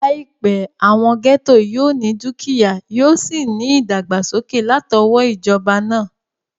Láìpẹ́, àwọn gẹ́ẹ́tò yóò ní dúkìyá, yóò sì ní ìdàgbàsókè látọwọ́ ìjọba náà